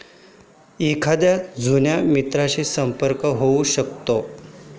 एखाद्या जुन्या मित्राशी संपर्क होऊ शकतो.